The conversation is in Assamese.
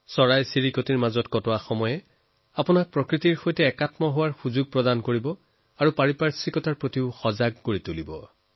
পক্ষীৰ সৈতে সময় কটোৱাৰ জৰিয়তে আপুনি প্ৰকৃতিৰ সৈতে যুক্ত হব আৰু পৰিৱেশৰ ভাৱনাই আপোনাক অনুপ্ৰাণিত কৰিব